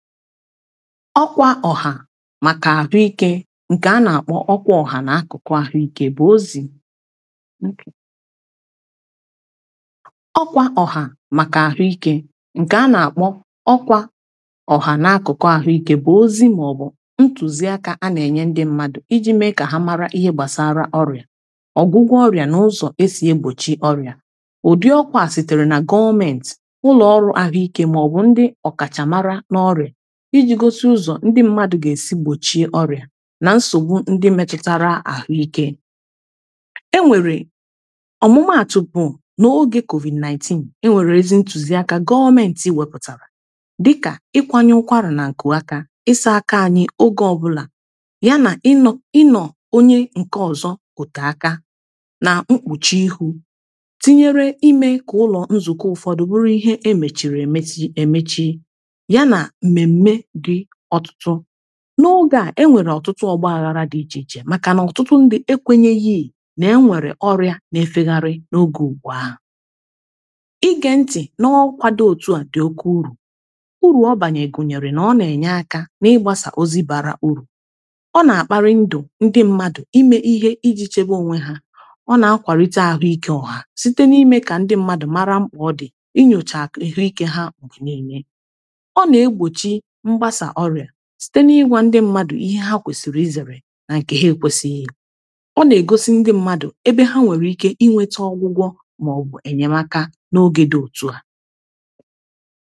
ọkwa ọha maka arụike nke a na-akpọ ọkwa ọha na akụkụ ahụike bụ ozi ụtụ ọkwa ọha maka ahụike nke a na-akpọ ọkwa ọha na akụkụ ahụike bụ ozi maọbụ ntuziaka a na-enye ndị mmadụ iji mee ka ha mara ihe gbasara ọrịa ọgwụgwọ ọrịa na ụzọ e sie gbochie ọrịa ụdị ọkwa a sitere na gọọmenti ụlọọrụ ahụike ma ọbụ ndị ọkachamara n’ọrịa iji gosi ụzọ ndị mmadụ ga-esi gbochie ọrịa na nsogbu ndị metutara ahụike enwere ọmụmaatụ bụ n’oge covid-19 enwere ezi ntuziaka gọọmenti wepụtara dịka ịkwanye ụkwarà na nkụ aka ịsa aka anyị oge ọbụla yana ịnọ ịnọ onye nke ọzọ otu aka na mkpuchi ihu tinyere ime ka ụlọ nzukọ ụfọdụ bụrụ ihe emechiri emechi emechi n’oge a enwere ọtụtụ ọgbaghara dị iche iche maka na ọtụtụ ndị ekwenyeghii na-enwere ọrịa na efegharị n’oge ugbu ahụ ige ntị na ọkwado otu a dị oke uru uru ọ banye gụnyere na ọ na-enye aka n’ịgbasa ozi bara uru ọ na-akpari ndụ ndị mmadụ ime ihe iji chebe onwe ha ọ na-akwarite ahụike ọha site na-ime ka ndị mmadụ mara mkpa ọ dị inyocha ahụike ha bụ niile ịbụ ya site n’ịgwȧ ndị mmadụ̀ ihe ha kwesìrì ịzere n’aka ha ekwesịghị̀ ya ọ na-egosi ndị mmadụ̀ ebe ha nwere ike inwete ọgwụgwọ̀ ma ọ bụ enyemaka n’oge dị òtu à